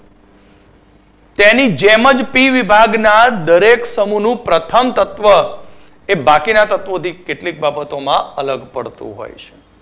તેની જેમ જ પી વિભાગના દરેક સમૂહનું પ્રથમ તત્વ એ બાકીના તત્વો થી કેટલીક બાબતો માં અલગ પડતું હોય છે